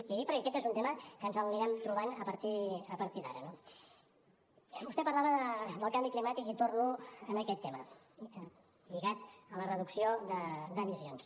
l’hi dic perquè aquest és un tema amb què ens anirem trobant a partir d’ara no vostè parlava del canvi climàtic i torno en aquest tema lligat a la reducció d’emissions